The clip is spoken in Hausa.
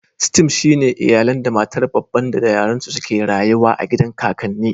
"Stem" shine iyalan da matar babban da da yaran su suke rayuwa a gidan kakanni.